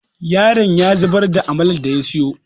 yaron ya zubar da amalar da ya siyo